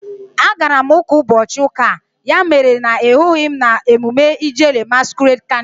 A gara m uka n'ubochi uka, ya mere na ị hughi m na emume Ijele masquerade canịval